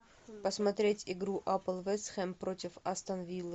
посмотреть игру апл вест хэм против астон виллы